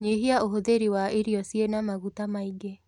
Nyia ũhũthĩri wa irio ciĩna maguta maĩ ngi